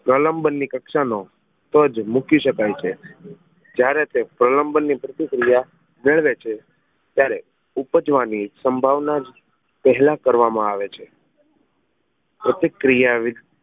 પ્રલંબન ની કક્ષા નો તો જ મૂકી શકાય છે જ્યારે તે પ્રલંબન ની પ્રતિક્રિયા મેળવે છે ત્યારે ઉપજવાની સંભાવના પેહલા કરવામાં આવે છે પ્રતિક્રિયા